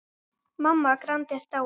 Mamma Grand er dáin.